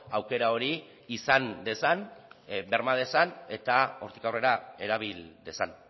aukera hori izan dezan berma dezan eta hortik aurrera erabil dezan